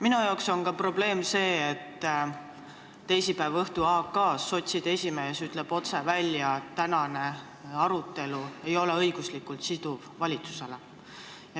Minu arvates on probleem ka see, kui teisipäeva õhtul "Aktuaalses kaameras" sotside esimees ütleb otse välja, et tänane arutelu ei ole valitsusele õiguslikult siduv.